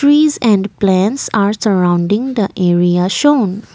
trees and plants are surrounding the area shown.